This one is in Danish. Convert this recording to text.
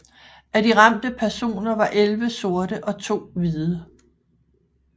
Af de ramte personer var elleve sorte og to hvide